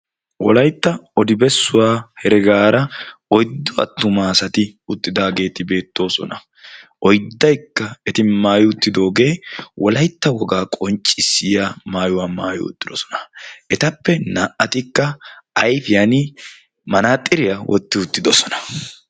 wolaytta oribessuwaa heregaara oyddo attuma asati uttidaageeti beettoosona oiddaikka eti maayi uttidoogee wolaytta wogaa qonccissiya maayuwaa maayi uttidosona etappe naa"atikka ayfiyan manaaxiriyaa wotti uttidosona.